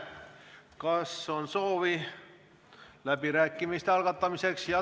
Kas on soovi läbirääkimisteks?